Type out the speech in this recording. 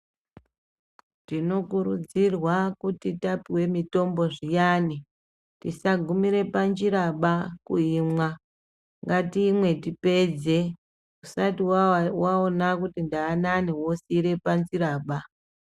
Tinokurudzirwa kuti tapuwe mutombo zviyani tisagumire panjiraba kuimwa ngatimwe tipedze usati waona kuti ndaanani wosiira panjira apapo.